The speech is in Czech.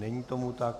Není tomu tak.